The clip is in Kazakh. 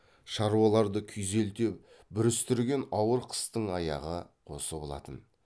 шаруаларды күйзелте бүрістірген ауыр қыстың аяғы осы болатын